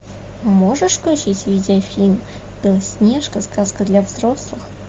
можешь включить видеофильм белоснежка сказка для взрослых